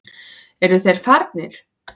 Eru þeir farnir?